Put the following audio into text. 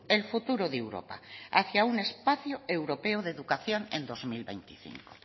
el futuro de europa hacia un espacio europeo de educación en dos mil veinticinco